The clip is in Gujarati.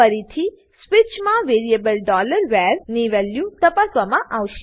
ફરીથી સ્વીચમાં વેરીએબલ var ની વેલ્યુ તપાસવામાં આવશે